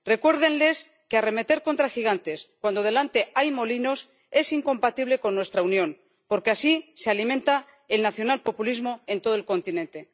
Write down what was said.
Recuérdenles que arremeter contra gigantes cuando delante hay molinos es incompatible con nuestra Unión, porque así se alimenta el nacionalpopulismo en todo el continente.